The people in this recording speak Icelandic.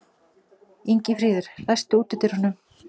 Ingifríður, læstu útidyrunum.